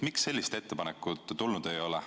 Miks sellist ettepanekut ei ole tulnud?